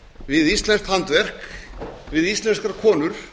við íslenskt handverk við íslenskar konur